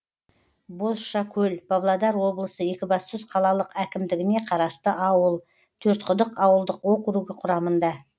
бозшакөл павлодар облысы екібастұз қалалық әкімдігіне қарасты ауыл төртқұдық ауылдық округі құрамында